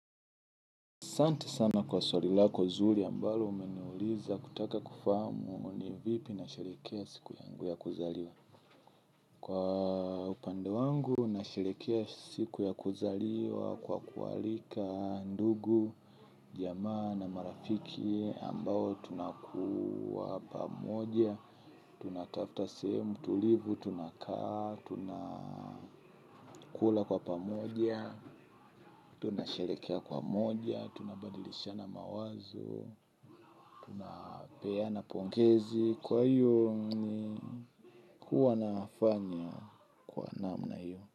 Sante sana kwa swari lako zuri ambalo umeniuliza kutaka kufahamu ni vipi nasherekea siku yangu ya kuzaliwa. Kwa upande wangu nasherekea siku ya kuzaliwa kwa kuwaalika ndugu, jamaa na marafiki ambao tunakuwa pamoja, tunatafta sehemu, tulivu, tunakaa, tunakula kwa pamoja, tunasherekea pamoja, tunabadilishana mawazo, tunapeana pongezi kwa hiyo ni kuwa nafanya kwa namna hiyo.